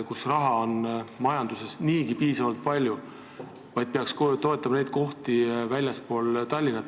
Seal on majandusest tulevat raha niigi piisavalt palju, peaks toetama kohti väljaspool Tallinna.